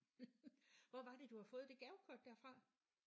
Hvor var det du havde fået det gavekort der fra?